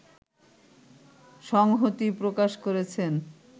সংহতি প্রকাশ করেছেন